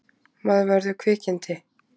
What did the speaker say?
Maður verður kvikindi.